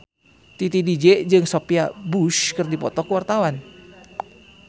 Titi DJ jeung Sophia Bush keur dipoto ku wartawan